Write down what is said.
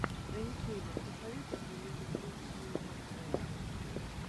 на ютубе посоветуй мне лену брит сью энд вэа